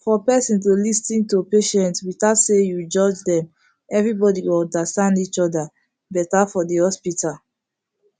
for person to lis ten to patient without say you judge them everybody go understand each other better for the hospital